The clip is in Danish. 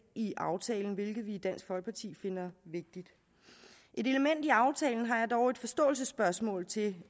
i aftalen hvilket vi i dansk folkeparti finder vigtigt et element i aftalen har jeg dog et forståelsesspørgsmål til